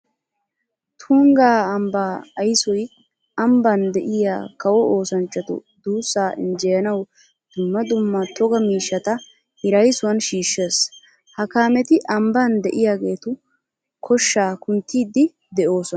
Tungga ambbaa aysoy ambban de'iya kawo oosanchchatu duussaa injjeyanawu dumma dumma togaa miishshata hiraysuwan shiishshees. Ha kaameti ambban de'iyageetu koshshaa kunttiiddi de'oosona.